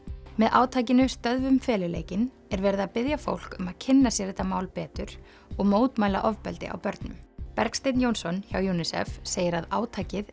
með átakinu stöðvum feluleikinn er verið að biðja fólk um að kynna sér þetta mál betur og mótmæla ofbeldi á börnum Bergsteinn Jónsson hjá UNICEF segir að átakið